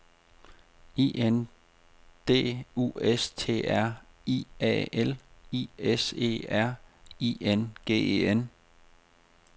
I N D U S T R I A L I S E R I N G E N